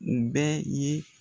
N bɛ ye